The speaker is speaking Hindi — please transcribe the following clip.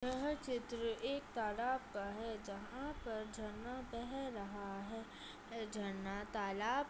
यह चित्र एक तालाब का है जहाँ पर झरना बह रहा है झरना तालाब --